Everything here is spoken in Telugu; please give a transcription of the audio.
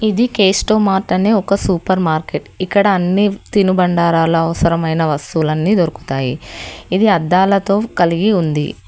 ఇది కేస్టోమార్ట్ అనే ఒక సూపర్ మార్కెట్ ఇక్కడ అన్ని తినుబండరాల అవసరమైన వస్తువులు అన్ని దొరుకుతాయి ఇది అద్దాలతో కలిగి ఉంది.